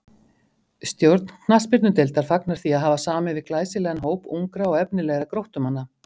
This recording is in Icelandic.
Stjórn knattspyrnudeildar fagnar því að hafa samið við glæsilegan hóp ungra og efnilegra Gróttumanna.